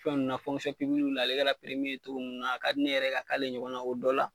Fɛn nunnu na ale ka togo min na, a ka di ne yɛrɛ ye, ka k'ale ɲɔgɔn na y'o o dɔ la